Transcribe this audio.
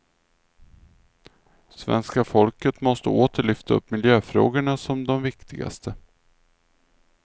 Svenska folket måste åter lyfta upp miljöfrågorna som de viktigaste.